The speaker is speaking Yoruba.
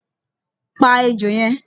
Pa ejò yẹn!